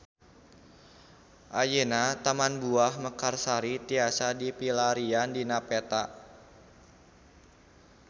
Ayeuna Taman Buah Mekarsari tiasa dipilarian dina peta